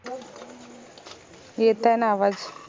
येत आय न आवाज?